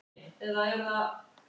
Vígberg, viltu hoppa með mér?